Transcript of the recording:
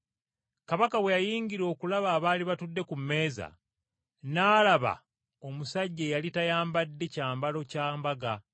“Kabaka bwe yayingira okulaba abaali batudde ku mmeeza, n’alaba omusajja eyali tayambadde kyambalo kya mbaga.